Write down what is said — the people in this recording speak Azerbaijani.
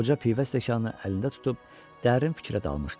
Qoca pivə stəkanı əlində tutub dərin fikrə dalmışdı.